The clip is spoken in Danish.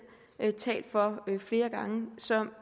talt for flere gange så